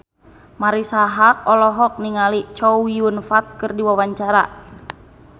Marisa Haque olohok ningali Chow Yun Fat keur diwawancara